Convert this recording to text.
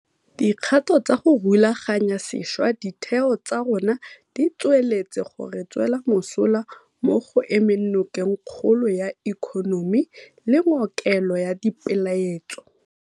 Dikgato tsa go rulaganya sešwa ditheo tsa rona di tsweletse go re tswela mosola mo go emeng nokeng kgolo ya ikonomi le ngokelo ya dipeeletso.